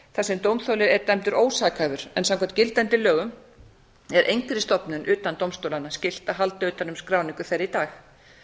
þar sem dómþoli er dæmdur ósakhæfur en samkvæmt gildandi lögum er engri stofnun utan dómstólanna skylt að halda utan um skráningu þeirra í dag